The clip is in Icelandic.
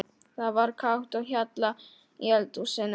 Það var kátt á hjalla í eldhúsinu.